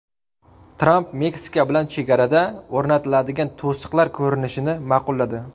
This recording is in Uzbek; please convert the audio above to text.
Tramp Meksika bilan chegarada o‘rnatiladigan to‘siqlar ko‘rinishini ma’qulladi.